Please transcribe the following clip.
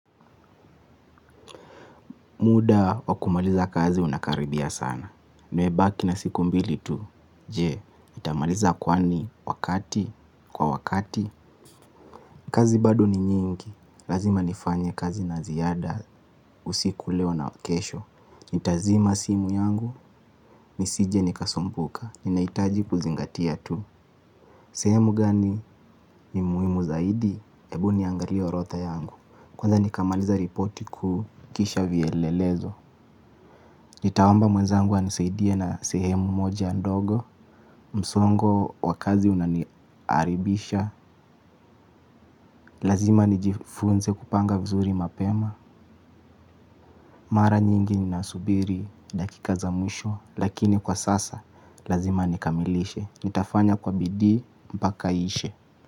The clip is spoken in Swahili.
Muda wakumaliza kazi unakaribia sana. Nimebaki na siku mbili tu. Je, nitamaliza kwani, wakati, kwa wakati. Kazi bado ni nyingi. Lazima nifanye kazi na ziyada. Usiku leo na kesho nitazima simu yangu nisije nikasumbuka. Ninaitaji kuzingatia tu. Sehemu gani ni muhimu zaidi. Ebu niangalie orotha yangu. Kwanza nikamaliza ripoti kukisha vyelelezo. Nitaomba mwezangu anisaidie na sehemu moja ndogo. Msongo wa kazi unaniaribisha. Lazima nijifunze kupanga vizuri mapema. Mara nyingi ninasubiri dakika za mwisho lakini kwa sasa lazima nikamilishe. Nitafanya kwa bidii mpaka iishe.